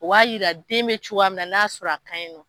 O b'a jira n'a sɔrɔ den bɛ cogoya min na n'a y'a sɔrɔ a kan ɲi nɔ.